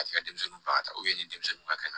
A tɛ ka denmisɛnninw baga ni denmisɛnninw ka kɛnɛ